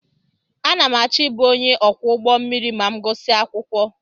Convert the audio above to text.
Ana m achọ ịbụ onye ọkwọ ụgbọ mmiri ma m gusia akwụkwọ.